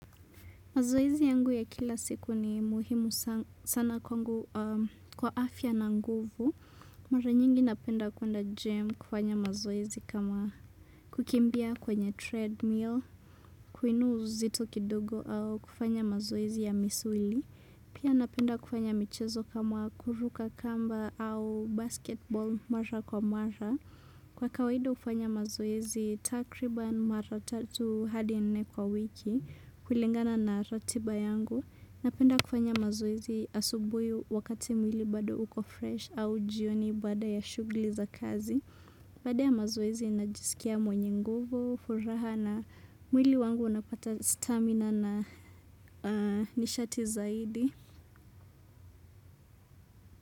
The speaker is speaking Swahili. Mazoezi yangu ya kila siku ni muhimu sana kwa afya na nguvu. Mara nyingi napenda kuenda gym kufanya mazoezi kama kukimbia kwenye treadmill, kuinua uzito kidogo au kufanya mazoezi ya misuli. Pia napenda kufanya michezo kama kuruka kamba au basketball mara kwa mara. Kwa kawaida hufanya mazoezi takriban mara tatu hadi nne kwa wiki, kulingana na ratiba yangu. Napenda kufanya mazoezi asubuhi wakati mwili bado uko fresh au jioni baada ya shughuli za kazi Baada ya mazoezi najisikia mwenye nguvu, furaha na mwili wangu unapata stamina na nishati zaidi.